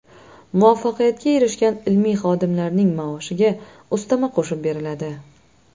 Muvaffaqiyatga erishgan ilmiy xodimlarning maoshiga ustama qo‘shib beriladi.